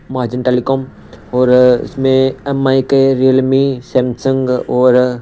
margin telecom और इसमें M I के रेयलमि सैमसंग और--